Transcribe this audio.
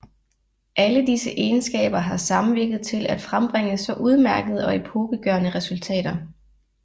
Alle disse egenskaber har samvirket til at frembringe så udmærkede og epokegørende resultater